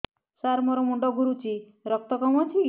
ସାର ମୋର ମୁଣ୍ଡ ଘୁରୁଛି ରକ୍ତ କମ ଅଛି କି